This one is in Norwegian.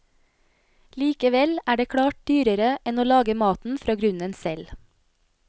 Likevel er det klart dyrere enn å lage maten fra grunnen selv.